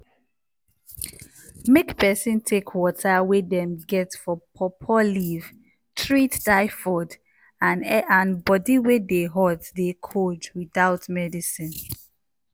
make peson take water wey dem get for pawpaw leaf treat tyfod and body wey dey hot dey cold without medicine.